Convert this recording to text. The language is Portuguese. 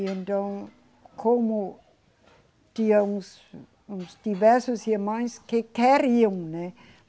E então, como tinham uns, uns diversos irmãs que queriam, né?